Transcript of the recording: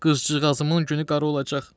Qızcığazımın günü qara olacaq.